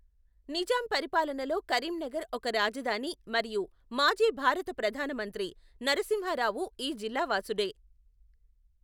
నిజాం పరిపాలనలో కరీంనగర్ ఒక రాజధాని మరియు మాజీ భారత ప్రధానమంత్రి నరసింహారావు ఈ జిల్లా వాసుడే.